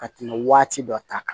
Ka tɛmɛ waati dɔ ta kan